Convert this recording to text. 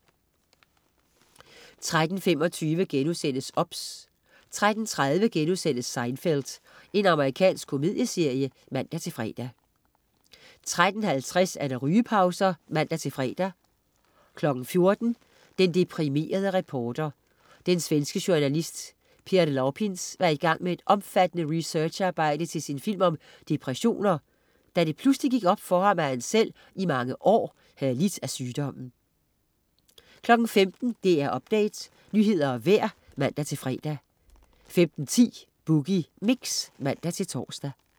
13.25 OBS* 13.30 Seinfeld.* Amerikansk komedieserie (man-fre) 13.50 Rygepauser (man-fre) 14.00 Den deprimerede reporter. Den svenske journalist Per Lapins var i gang med et omfattende researcharbejde til sin film om depressioner, da det pludselig gik op for ham, at han selv i mange år havde lidt af sygdommen 15.00 DR Update, nyheder og vejr (man-fre) 15.10 Boogie Mix (man-tors)